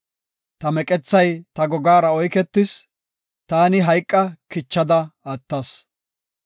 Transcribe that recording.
Ta meqethay ta gogaara oyketis; taani hayqa kichada attas.